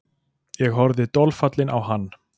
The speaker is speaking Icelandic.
Ég horfði dolfallinn á hann.